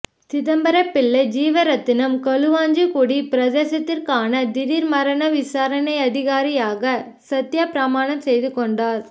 சிதம்பரப்பிள்ளை ஜீவரெத்தினம் களுவாஞ்சிகுடி பிரதேசத்திற்கான திடீர் மரண விசாரணை அதிகாரியாக சத்தியப்பிரமானம் செய்துகொண்டார்